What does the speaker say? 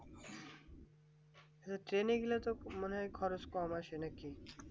চলে গেলে মানে খরচ কম আছে নাকি